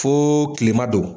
Fooo kilema don.